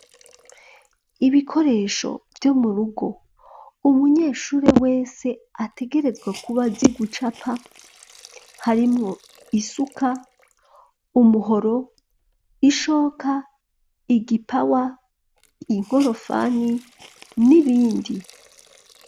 Ibikoresho vyo mu rugo umunyeshure wese ategerezwa kuba azi gucapa harimwo isuka umuhoro ishoka igipawa inkorofani n'ibindi.